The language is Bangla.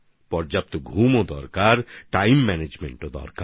যথেষ্ট ঘুমাতে হবে টাইম ম্যানেজমেন্টও করতে হবে